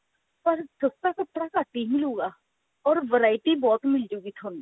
ਪਰ ਸਸਤਾ ਕੱਪੜਾ ਘੱਟ ਹੀ ਮਿਲੁਗਾ or variety ਬਹੁਤ ਮਿਲ ਜੁਗੀ ਤੁਹਾਨੂੰ